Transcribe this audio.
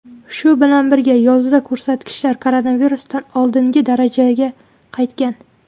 Shu bilan birga, yozda ko‘rsatkichlar koronavirusdan oldingi darajaga qaytgan.